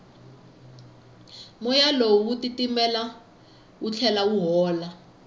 moya lowu wa titimela wu tlhela wu hola